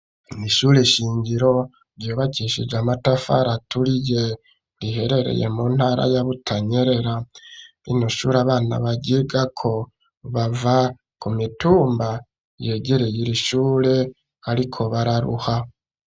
Ishure shingiro ryubakishije amatafari aturiye riherereye mu ntara ya Butanyerera n'ishure abana baryigako bava ku mitumba yegereye irishure ariko bararuha